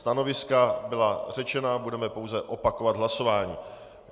Stanoviska byla řečena, budeme pouze opakovat hlasování.